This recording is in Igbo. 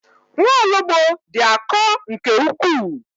Nwaologbo dị akọ nke ukwuu.